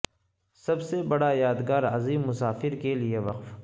سب سے بڑا یادگار عظیم مسافر کے لئے وقف